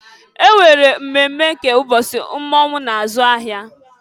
E nwere mmemme nke mbọsị mmọnwụ na-azụ ahịa.